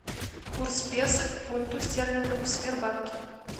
курс песо к фунту стерлингов в сбербанке